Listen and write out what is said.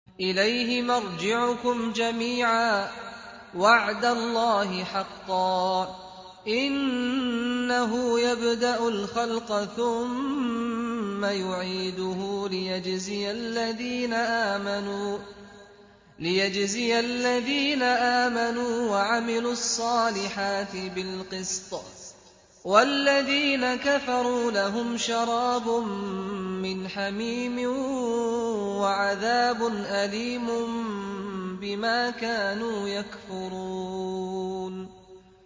إِلَيْهِ مَرْجِعُكُمْ جَمِيعًا ۖ وَعْدَ اللَّهِ حَقًّا ۚ إِنَّهُ يَبْدَأُ الْخَلْقَ ثُمَّ يُعِيدُهُ لِيَجْزِيَ الَّذِينَ آمَنُوا وَعَمِلُوا الصَّالِحَاتِ بِالْقِسْطِ ۚ وَالَّذِينَ كَفَرُوا لَهُمْ شَرَابٌ مِّنْ حَمِيمٍ وَعَذَابٌ أَلِيمٌ بِمَا كَانُوا يَكْفُرُونَ